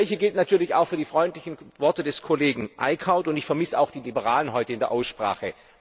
Das Gleiche gilt natürlich auch für die freundlichen Worte des Kollegen Eickhout, und ich vermisse auch die Liberalen heute in der Aussprache.